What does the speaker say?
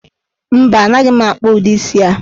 Mba, anaghị m akpụ udi isii a.